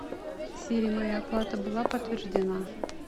сири моя оплата была подтверждена